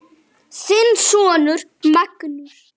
Þinn sonur Magnús.